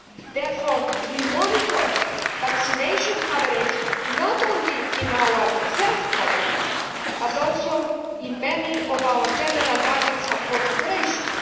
Therefore, we monitor vaccination coverage not only in our health programmes but also in many of our general budget support operations.